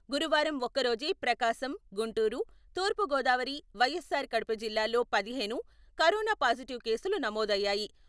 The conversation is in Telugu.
గురువారం ఒక్కరోజే ప్రకాశం, గుంటూరు, తూర్పుగోదావరి, వైఎస్సార్ కడప జిల్లాల్లో పదిహేను కరోనా పాజిటివ్ కేసులు నమోదయ్యాయి.